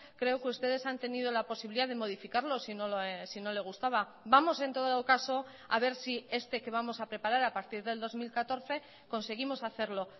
creo que ustedes han tenido la posibilidad de modificarlo si no le gustaba vamos en todo caso a ver si este que vamos a preparar a partir del dos mil catorce conseguimos hacerlo